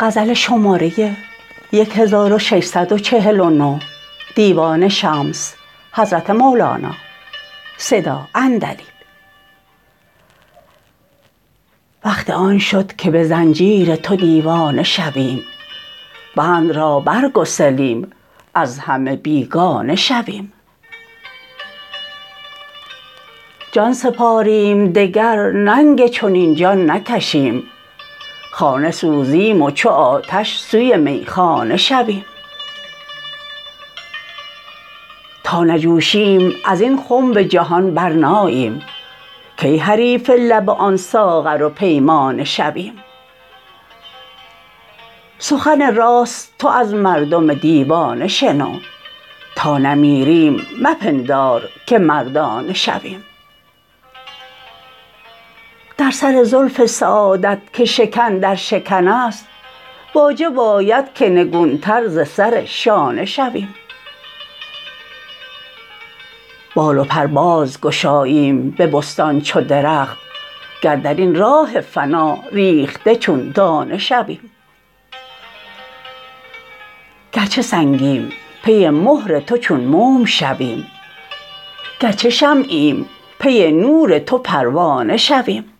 وقت آن شد که به زنجیر تو دیوانه شویم بند را برگسلیم از همه بیگانه شویم جان سپاریم دگر ننگ چنین جان نکشیم خانه سوزیم و چو آتش سوی میخانه شویم تا نجوشیم از این خنب جهان برناییم کی حریف لب آن ساغر و پیمانه شویم سخن راست تو از مردم دیوانه شنو تا نمیریم مپندار که مردانه شویم در سر زلف سعادت که شکن در شکن است واجب آید که نگونتر ز سر شانه شویم بال و پر باز گشاییم به بستان چو درخت گر در این راه فنا ریخته چون دانه شویم گرچه سنگیم پی مهر تو چون موم شویم گرچه شمعیم پی نور تو پروانه شویم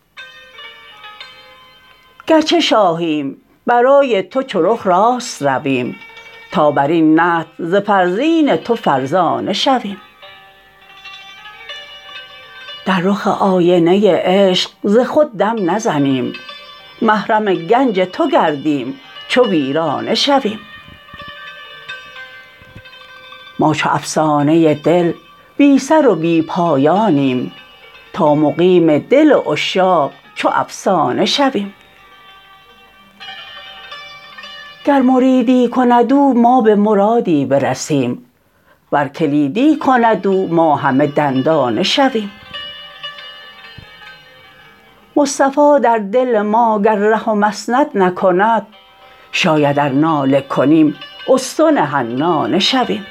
گرچه شاهیم برای تو چو رخ راست رویم تا بر این نطع ز فرزین تو فرزانه شویم در رخ آینه عشق ز خود دم نزنیم محرم گنج تو گردیم چو پروانه شویم ما چو افسانه دل بی سر و بی پایانیم تا مقیم دل عشاق چو افسانه شویم گر مریدی کند او ما به مرادی برسیم ور کلیدی کند او ما همه دندانه شویم مصطفی در دل ما گر ره و مسند نکند شاید ار ناله کنیم استن حنانه شویم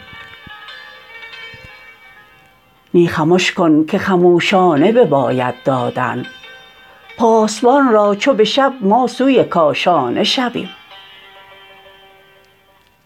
نی خمش کن که خموشانه بباید دادن پاسبان را چو به شب ما سوی کاشانه شویم